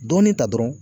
Dɔɔnin ta dɔrɔn